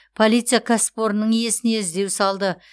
полиция кәсіпорынның иесіне іздеу салды